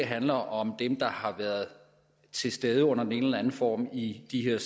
handler om dem der har været til stede under den ene eller den anden form i de her